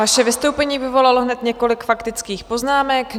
Vaše vystoupení vyvolalo hned několik faktických poznámek.